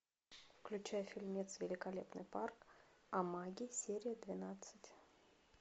включай фильмец великолепный парк амаги серия двенадцать